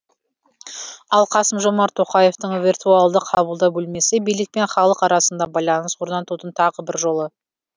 ал қасым жомарт тоқаевтың виртуалды қабылдау бөлмесі билік пен халық арасында байланыс орнатудың тағы бір жолы